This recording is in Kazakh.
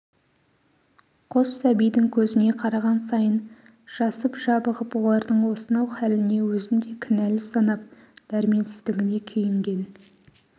қос сәбидің көзіне қараған сайын жасып жабығып олардың осынау хәліне өзін де кінәл санап дәрменсіздігіне күйінген